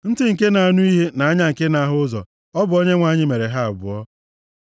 Ntị nke na-anụ ihe na anya nke na-ahụ ụzọ, ọ bụ Onyenwe anyị mere ha abụọ.